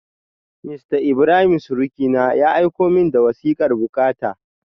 Mista Ibrahim surukina, ya aiko min da wasikar bukata.